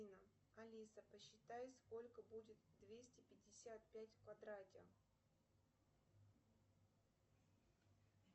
алиса посчитай сколько будет двести пятьдесят пять в квадрате